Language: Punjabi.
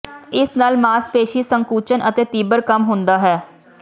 ਇਸ ਨਾਲ ਮਾਸਪੇਸ਼ੀ ਸੰਕੁਚਨ ਅਤੇ ਤੀਬਰ ਕੰਮ ਹੁੰਦਾ ਹੈ